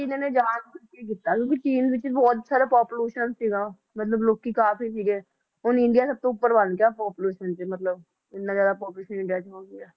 ਕਿ ਇਹਨਾਂ ਜਾਣਬੁਝ ਕੇ ਕੀਤਾ ਕਿਉਕਿ ਚੀਨ ਵਿਚ ਬਹੁਤ ਸਾਰਾ population ਸੀਗਾ ਮਤਲਬ ਲੋਕੀ ਕਾਫੀ ਸੀਗੇ ਹੁਣ ਇੰਡੀਆ ਸਬਤੋਂ ਉਪਰ ਬਣ ਗਿਆ population ਚ ਮਤਲਬ ਇੰਨਾ ਜ਼ਿਆਦਾ population ਇੰਡੀਆ ਚ ਹੋ ਗਿਆ